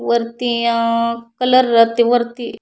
वरती आ कलर ते वरती --